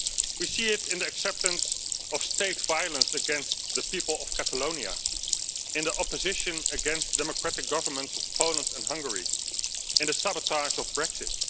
We see it in the acceptance of state violence against the people of Catalonia and the opposition against democratic governments of Poland and Hungary and the sabotage of Brexit.